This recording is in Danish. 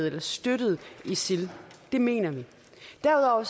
eller støttet isil det mener vi derudover